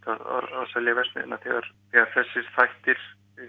að selja verksmiðjuna þegar þessir þættir